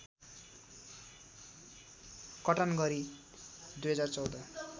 कटान गरी २०१४